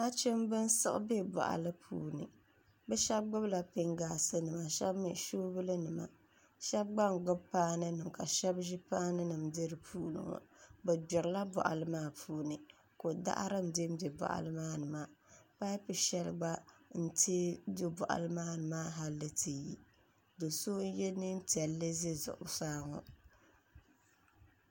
nachimba n-siɣi be bɔɣili puuni bɛ shɛba gbubila pingaasinima bɛ shɛba mi soobulinima shɛba gba n-gbubi paaninima ka shɛba ʒi paaninima m-be di puuni ŋɔ bɛ gbirila bɔɣili maa puuni ko' daɣiri m-bembe bɔɣili maani maa paapu shɛli gba n-teei do bɔɣili maani hali n-ti yi do' so n-ye neem piɛlli za zuɣusaa ŋɔ